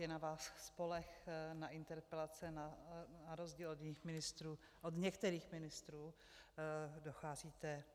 Je na vás spoleh, na interpelace na rozdíl od některých ministrů docházíte.